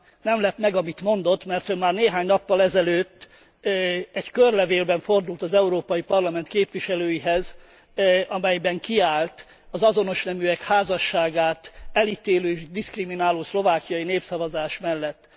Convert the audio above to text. Nem lep meg, amit mondott, mert ön már néhány nappal ezelőtt egy körlevélben fordult az Európai Parlament képviselőihez, amelyben kiállt az azonos neműek házasságát elitélő és diszkrimináló szlovákiai népszavazás mellett.